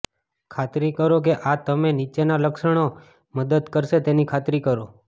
ખાતરી કરો કે આ તમે નીચેના લક્ષણો મદદ કરશે તેની ખાતરી કરો